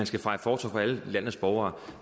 skal fejes fortov for alle landets borgere